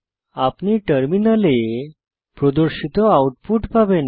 আপনি টার্মিনালে প্রদর্শিত আউটপুট পাবেন